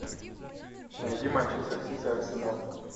найди манчестер сити арсенал